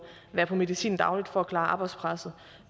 være på medicin dagligt for at klare arbejdspresset